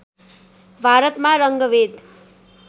भारतमा रङ्गभेद